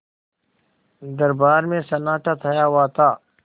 दरबार में सन्नाटा छाया हुआ था